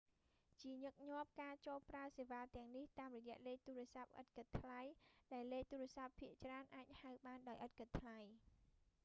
ជាញឹកញាប់ការចូលប្រើសេវាទាំងនេះតាមរយៈលេខទូរស័ព្ទឥតគិតថ្លៃ ដែលលេខទូរស័ព្ទភាគច្រើនអាចហៅបានដោយឥតគិតថ្លៃ